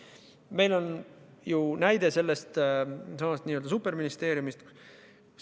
Meil on ju näide superministeeriumi kujul võtta.